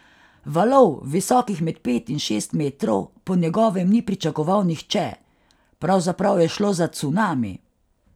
Valov, visokih med pet in šest metrov, po njegovem ni pričakoval nihče: 'Pravzaprav je šlo za cunami.